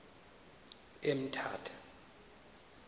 emthatha